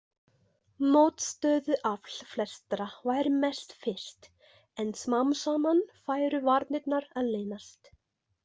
Mótstöðuafl flestra væri mest fyrst en smám saman færu varnirnar að linast.